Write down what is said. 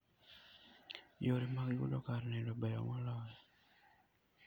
Yore mag yudo kar nindo beyo moloyo.